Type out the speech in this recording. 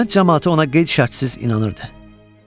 Kənd camaatı ona qeyd şərtsiz inanırdı.